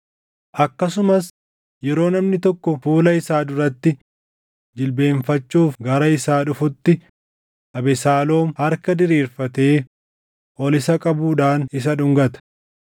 Akkasumas yeroo namni tokko fuula isaa duratti jilbeenfachuuf gara isaa dhufutti Abesaaloom harka diriirfatee ol isa qabuudhaan isa dhungata.